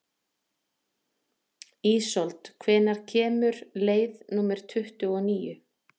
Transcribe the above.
Ísold, hvenær kemur leið númer tuttugu og níu?